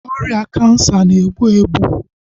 Ọrịa kansa na-egbu egbu